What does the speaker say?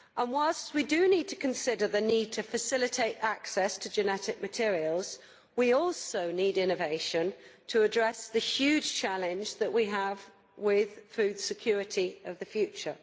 Whilst it is right to consider the need to facilitate access to genetic materials, we also need innovation to address the huge challenge that we have with food security in the future.